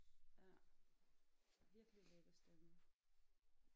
Ja virkelig lækker stemme